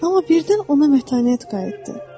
Amma birdən ona mətanət qayıtdı.